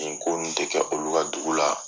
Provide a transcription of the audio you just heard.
Nin ko nin tɛ kɛ olu ka dugu la